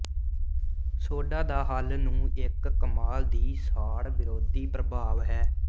soda ਦਾ ਹੱਲ ਨੂੰ ਇੱਕ ਕਮਾਲ ਦੀ ਸਾੜ ਵਿਰੋਧੀ ਪ੍ਰਭਾਵ ਹੈ